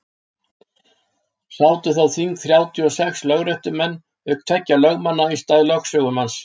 sátu þá þing þrjátíu og sex lögréttumenn auk tveggja lögmanna í stað lögsögumanns